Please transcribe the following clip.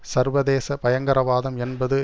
சர்வதேச பயங்கரவாதம் என்பது